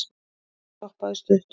þar stoppaði hann stutt